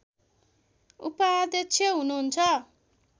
उपाध्यक्ष हुनुहुन्छ